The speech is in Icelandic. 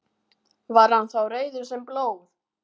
Var hann þá rauður sem blóð.